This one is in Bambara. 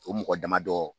O mɔgɔ damadɔ